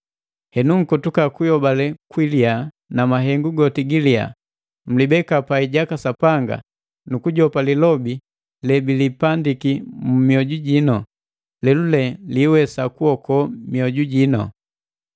Henu nkotuka kuyobale kwiliya na mahengu goti giliya, mlibeka pai jaka Sapanga nu kujopa lilobi lebilipandiki mu mioju jinu, lelule liwesa kuokoa mioju jino.